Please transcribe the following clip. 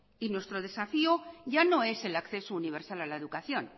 y nuestro desafío ya no es el acceso universal a la educación